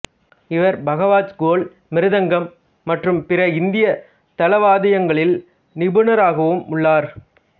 இவர் பகவாஜ் கோல் மிருதங்கம் மற்றும் பிற இந்திய தாள வாத்தியங்களில் நிபுணராகவும் உள்ளார்